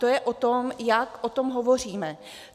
To je o tom, jak o tom hovoříme.